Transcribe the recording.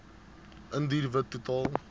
indiër wit totaal